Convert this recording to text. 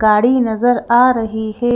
गाड़ी नजर आ रही है।